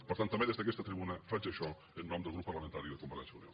per tant també des d’aquesta tribuna faig això en nom del grup parlamentari de convergència i unió